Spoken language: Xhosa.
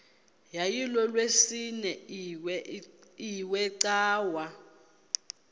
yayilolwesine iwe cawa